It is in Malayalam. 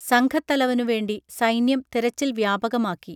സംഘത്തലവനുവേണ്ടി സൈന്യം തെരച്ചിൽ വ്യാപകമാക്കി